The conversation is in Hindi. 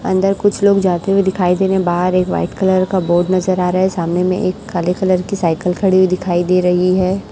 अंदर कुछ लोग जाते हुए दिखाई दे रहे हैं। बाहर एक वाइट कलर का बोर्ड नजर आ रहा है। सामने में एक काले कलर की साइकिल खड़ी हुई दिखाई दे रही है।